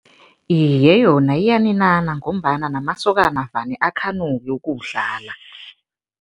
Iye, yona iyaninana ngombana namasokana vane akhanuke ukuwudlala.